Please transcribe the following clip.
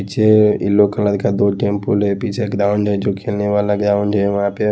पीछे yellow colour का दो टेंपल है पीछे ग्राउंड जो खेलने वाला ग्राउंड है वहाँ पे --